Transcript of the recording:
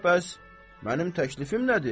Onda bəs mənim təklifim nədir?